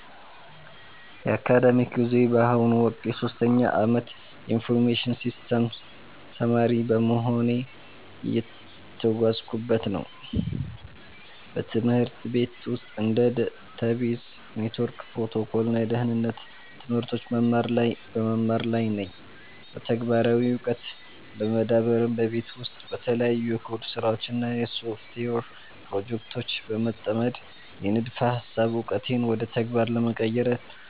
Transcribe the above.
የአካዳሚክ ጉዞዬ በአሁኑ ወቅት የሶስተኛ ዓመት የኢንፎርሜሽን ሲስተምስ ተማሪ በመሆን እየተጓዝኩበት ነው። በትምህርት ቤት ውስጥ እንደ ዳታቤዝ፣ የኔትወርክ ፕሮቶኮል እና የደህንነት ትምህርቶችን በመማር ላይ ነኝ። በተግባራዊ ዕውቀት ለመዳበርም በቤት ውስጥ በተለያዩ የኮድ ስራዎች እና በሶፍትዌር ፕሮጀክቶች በመጠመድ፣ የንድፈ ሃሳብ ዕውቀቴን ወደ ተግባር ለመቀየር